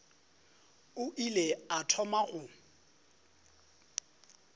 a ile a thoma go